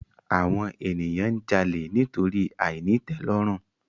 Àwon ènìyàn n jalè nítorí àìnítèlòrùn